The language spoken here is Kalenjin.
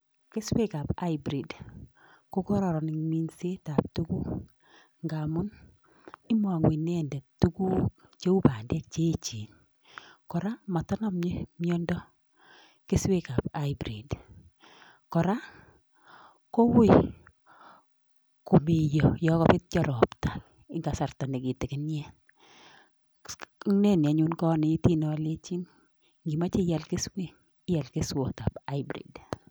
Keswekab hybrid ko kororon ing minsetab tukuk ngamun imongu inendet tukuk cheu bandek che echen, kora matanamei miondo keswekab hybrid, kora ko uui komeiyo yo kabetyo ropta eng kasarta ne kitikinyet, ineni anyun kanetin alechin ngimoche ial keswek ial keswotab hybrid.